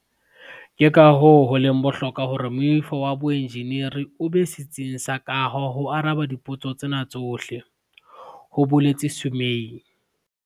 "Ke kahoo ho leng bohlokwa hore moifo wa boenjeneri o be setsing sa kaho ho araba dipotso tsena tsohle," ho boletse Sumay.